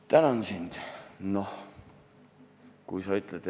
Tänan sind!